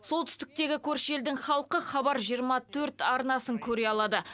солтүстіктегі көрші елдің халқы хабар жиырма төрт арнасын көре алады